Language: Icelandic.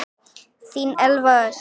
Þín Elva Ösp.